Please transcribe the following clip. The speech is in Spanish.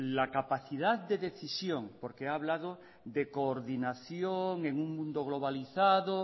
la capacidad de decisión porque ha hablado de coordinación en un mundo globalizado